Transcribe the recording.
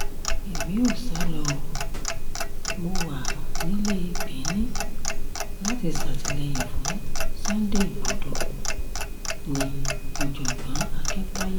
èmi ò sá lọ ọ́ mọ́ wa nílé benin láti ṣàtìlẹ́yìn fún sunday igbodò ní-òjọ̀gbọ́n akintayé